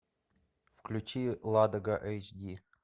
включи ладога эйч ди